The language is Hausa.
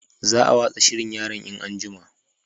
Za a watsa shirin yaran in an'jima